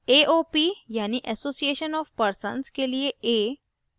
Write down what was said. aop यानि association of persons के लिए a